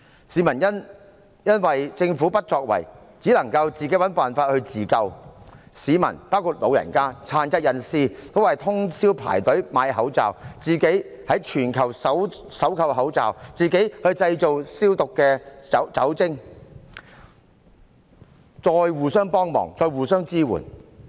市民因為政府不作為，只能自行尋找辦法自救，市民包括長者和殘疾人士均要徹夜排隊輪候購買口罩，自行在全球搜購口罩，自行製造酒精消毒用品，再互相幫忙，互相支援。